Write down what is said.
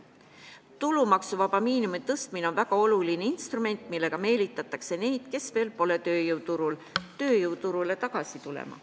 Tulumaksuvaba miinimumi tõstmine on väga oluline instrument, millega meelitatakse neid, kes pole tööjõuturul, tööjõuturule tagasi tulema.